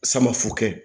Samafu kɛ